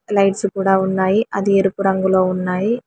Lights కూడా ఉన్నాయి అది ఎరుపు రంగులో ఉన్నాయి.